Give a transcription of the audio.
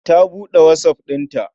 Ta buɗe WhatsApp ɗin.